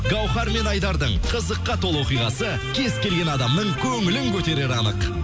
гауһар мен айдардың қызыққа толы оқиғасы кез келген адамның көңілін көтерері анық